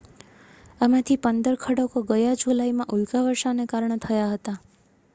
આમાંથી પંદર ખડકો ગયા જુલાઈમાં ઉલ્કાવર્ષાને કારણે થયા હતા